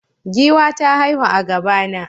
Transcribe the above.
Giwa ta haihu a gaba na